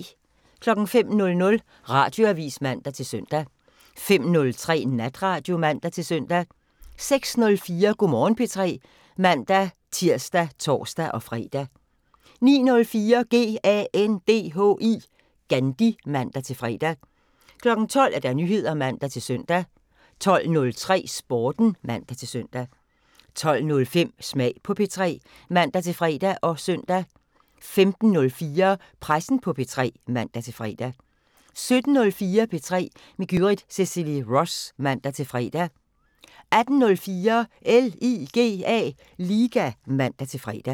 05:00: Radioavisen (man-søn) 05:03: Natradio (man-søn) 06:04: Go' Morgen P3 (man-tir og tor-fre) 09:04: GANDHI (man-fre) 12:00: Nyheder (man-søn) 12:03: Sporten (man-søn) 12:05: Smag på P3 (man-fre og søn) 15:04: Pressen på P3 (man-fre) 17:04: P3 med Gyrith Cecilie Ross (man-fre) 18:04: LIGA (man-fre)